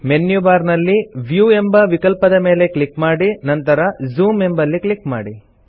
menu bar ನಲ್ಲಿ view ಎಂಬ ವಿಕಲ್ಪದ ಮೇಲೆ ಕ್ಲಿಕ್ ಮಾಡಿ ನಂತರ ಜೂಮ್ ಎಂಬಲ್ಲಿ ಕ್ಲಿಕ್ ಮಾಡಿ